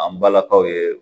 An balakaw ye